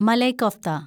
malai kofta